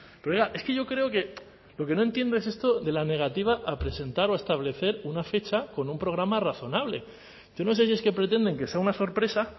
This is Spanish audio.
pero oiga es que yo creo que lo que no entiendo es esto de la negativa a presentar o a establecer una fecha con un programa razonable yo no sé si es que pretenden que sea una sorpresa